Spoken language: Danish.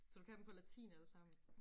Så du kan dem på latin allesammen